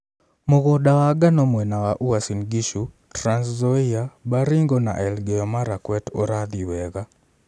Mũgũnda wa ngano mwena wa Uasin Gishu, Trans Nzoia, Baringo na Elgeyo Marakwet ũrathiĩ wega.